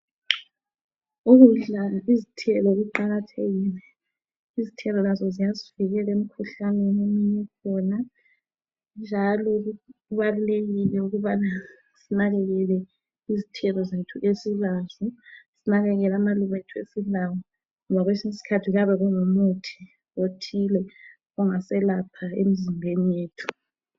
Ukudla izithelo kuqakathekile, izithelo lazo ziyasivikela emikhuhlaneni ekhona. Njalo kubalulekile ukubana sinakelele izithelo zethu esilazo lamaluba ngoba kwesinye isikhathi kuyabe kungumuthi othile ongaselapha emizimbeni yethu.